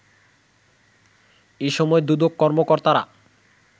এসময় দুদক কর্মকর্তারা